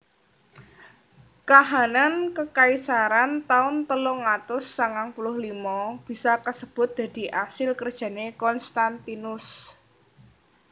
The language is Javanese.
Kahanan kekaisaran taun telung atus sangang puluh limo bisa kasebut dadi asil kerjané Konstantinus